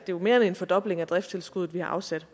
jo mere end en fordobling af driftstilskuddet vi har afsat